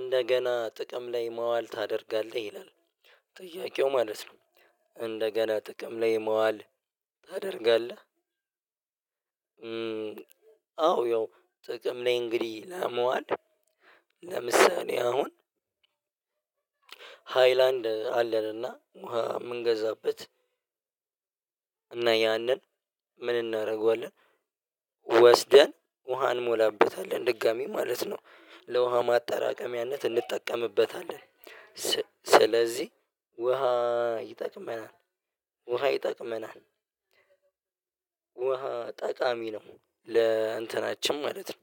እንደገና ጥቅም ላይ ማዋል ታደርጋለህ ይላል። ጥያቄው ማለት ነው። እንደገና ጥቅም ላይ መዋል ታደርጋለህ? አዎ ያው ጥቅም ላይ እንግዲህ ለማዋል። ለምሳሌ አሁን ሃይላንድ አለን እና ውሃ የምንገዛበት። እና ያንን ምን እናደርገዋለን? ወስደን ውሃ እንሞላበታለን ድጋሚ ማለት ነው ለውሃ ማጠራቀሚያነት እንጠቀምበታለን። ስለዚህ ውሃ ይጠቅመናል። ውሃ ይጠቅመናል። ውሃ ጠቃሚ ነው ለእንትናችን ማለት ነው።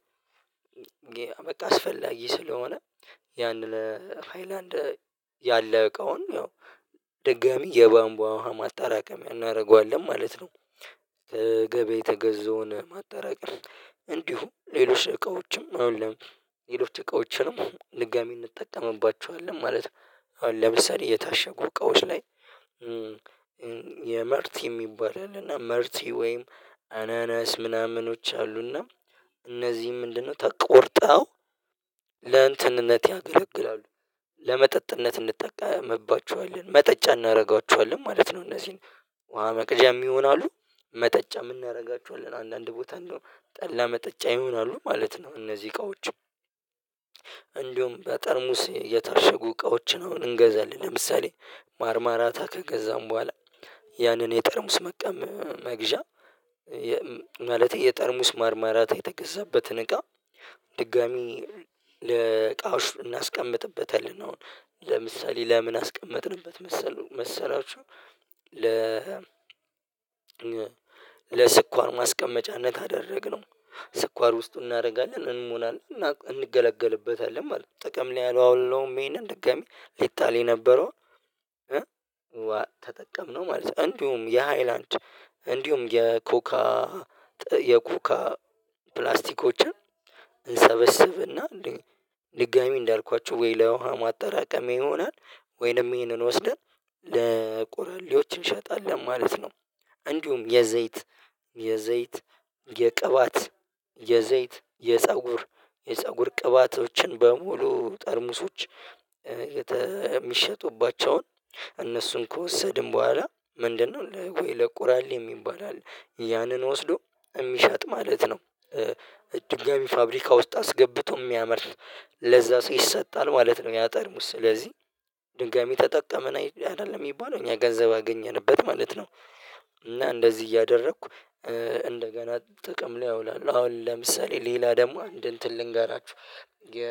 በቃ አስፈላጊ ስለሆነ ያንን ሃይላንድ ያለው እቃውን ያው ድጋሚ የባምብ ውሃ ማጣራቀም እናደርገዋለን ማለት ነው። የተገዛውን ማጠራቀም እንዲሁ ሌሎች እቃዎችም እንዲሁም ሌሎች እቃዎችንም ድጋሚ እንጠቀምባቸዋለን ማለት አሁን ለምሳሌ የታሸጉ እቃዎች ላይ። የመርቲ የሚባል አለና መርቲ ወይም አናናስ ምናምኖች አሉና እነዚህ ምንድነው? ተቆርጠው ለእንትንነት ያገለግላሉ ለመጠጥነት እንጠቀምባችኋለን መጠጫ እናደርጋችኋለን ማለት ነው። እነዚህን ውሃ መቅጃም ይሆናሉ። መጠጫም እናደርጋቸውአለን አንዳንድ ቦታ እንደው ጠላ መጠጫ ይሆናሉ ማለት ነው። እነዚህ እቃዎች። እንዲሁም በጠርሙስ የታሸጉ እቃዎችን አሁን እንገዛለን ለምሳሌ ማርማራታ ከገዛን በኋላ። ያንን የጠርሙስ መግዣ ማለት የጠርሙስ ማርማራታ የተገዛበትን እቃ ድጋሚ ለእቃዎች እናስቀምጥበታለን። አሁን ለምሳሌ ለምን አስቀመጥንበት መሰለህ መሰላችሁ? ለ ለስኳር ማስቀመጫነት ካደረግነው ስኳር ውስጥ እናደርጋለን እንሞናለን እንገለገልበታለን ማለት ነው። ጥቅም ላይ አላዋልነውም ይሄንን ድጋሚ ሊጣል የነበረው ተጠቀምነው ማለት ነው። እንዲሁም የሃይላንድ እንዲሁም የኮካ የኮካ ፕላስቲኮችን እንሰበስብና ድጋሚ እንዳልኳችሁ ወይ ለውሃ ማጠራቀም ይሆናል። ወይንም ይህንን ወስደን ለቆራሌዎች እንሸጣለን ማለት ነው። እንዲሁም የዘይት የዘይት የቅባት የዘይት የፀጉር የፀጉር ቅባቶችን በሙሉ ጠርሙሶች የሚሸጡባቸውን እነሱን ከወሰድን በኋላ ምንድነው ለቆራሌ የሚባል አለ ያንን ወስዶ የሚሸጥ ማለት ነው። ድጋሚ ፋብሪካ ውስጥ አስገብቶ የሚያመርት ለዛ ሰው ይሰጣል ማለት ነው። ያጠርሙስ ስለዚህ ድጋሚ ተጠቀመን አይደለም የሚባለው እኛ ገንዘብ አገኘንበት ማለት ነው። እና እንደዚህ እያደረኩ እንደገና ጥቅም ላይ አውላለሁ አሁን ለምሳሌ ሌላ ደግሞ አንድ እንትን ልንገራችሁ። የ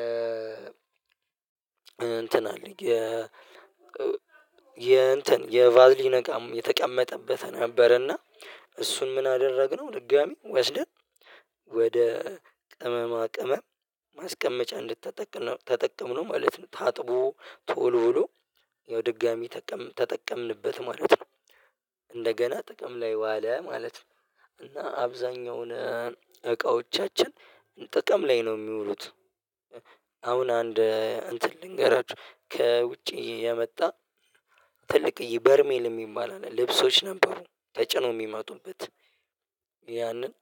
እንትን አለ የ የ እንትን የቫዝሊ እቃም የተቀመጠበት ነበርና እሱን ምን አደረግነው? ድጋሚ ወስደን ወደ ቅመማ ቅመም ማስቀመጫ እንድትጠቅም ነው ተጠቀምነው ማለት ነው። ታጥቦ ተወልውሎ ያው ድጋሚ ተጠቀምንበት ማለት ነው። እንደገና ጥቅም ላይ ዋለ ማለት ነው። እና አብዛኛውን እቃዎቻችን ጥቅም ላይ ነው የሚውሉት። አሁን አንድ አንትን ልንገራችሁ። ከውጭ የመጣ ትልቅ በርሜል የሚባል አለ ልብሶች ነበሩ ተጭኖ የሚመጡበት። ያንን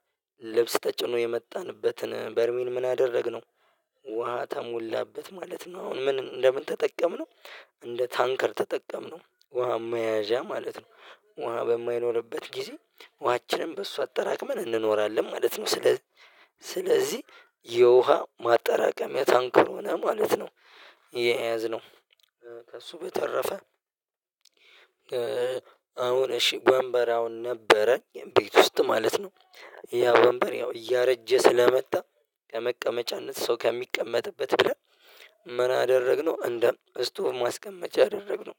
ልብስ ተጭኖ የመጣንበትን በርሜል ምን አደረግነው? ውሃ ተሞላበት ማለት ነው። አሁን ምን እንደምን ተጠቀምነው እንደ ታንከር ተጠቀምነው ውሃ መያዣ ማለት ነው። ውሃ በማይኖርበት ጊዜ ውሃችንም በሱ አጠራቅመን እንኖራለን ማለት ነው። ስለዚህ ስለዚህ የውሃ ማጠራቀሚያ ታንከር ሆነ ማለት ነው። የያዝነው ከእሱ በተረፈ አሁን እሺ ወንበር አሁን ነበረኝ ቤት ውስጥ ማለት ነው። ያ ወንበር ያው እያረጀ ስለመጣ ከመቀመጫነት ሰው ከሚቀመጥበት ብለህ ምን አደረግነው? እንደ ስቶቭ ማስቀመጫ አደረግነው።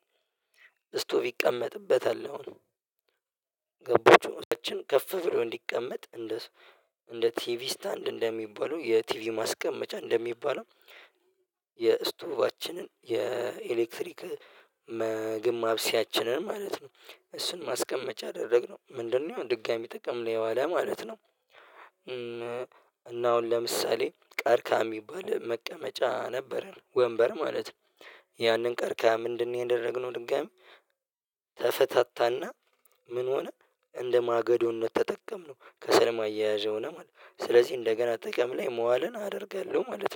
ስቶቭ ይቀመጥበታል ነው። ስቶቭ አችን ከፍ ብሎ እንዲቀመጥ እንደ እንደ ቲቪ ስታንድ እንደሚባለው የቲቪ ማስቀመጫ እንደሚባለው። የእስቶቭአችን የኤሌክትሪክ ምግብ ማብሰያችንን ማለት ነው። እሱን ማስቀመጫ አደረግነው ምንድነው? ድጋሚ ጥቅም ላይ ዋለ ማለት ነው። እና አሁን ለምሳሌ ቀርከሃ የሚባል መቀመጫ ነበረን ወንበር ማለት ነው። ያንን ቀርከሃ ምንድን ነው ያደረግነው? ድጋሚ ተፈታታና ምን ሆነ እንደማገዶነት ተጠቀምነው ከሰል ማያያዥ ሆነ ማለት ነው። ስለዚህ እንደገና ጥቅም ላይ ማዋልን አደርጋለሁ ማለት ነው